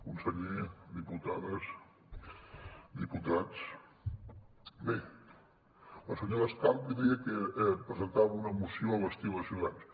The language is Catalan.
conseller diputades diputats bé la senyora escarp deia que presentava una moció a l’estil de ciutadans